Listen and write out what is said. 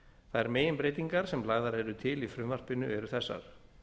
þær meginbreytingar sem lagðar eru til í frumvarpinu eru þessar